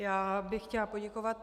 Já bych chtěla poděkovat.